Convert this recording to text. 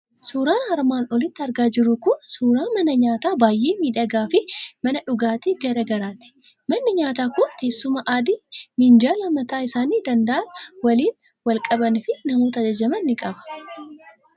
Suuraan armaan olitti argaa jirru kun suuraa mana nyaataa baay'ee miidhagaa fi mana dhugaatii garaa garaati. Manni nyaataa kun teessuma adii minjaala mataa isaanii danda'an waliin qaban fi namoota ajajaman ni qaba.